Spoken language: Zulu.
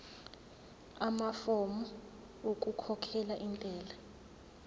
amafomu okukhokhela intela